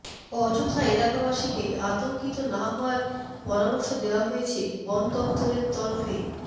অযথা এলাকাবাসীকে আতঙ্কিত না হওয়ার পরামর্শ দেওয়া হয়েছে বন দফতরের তরফে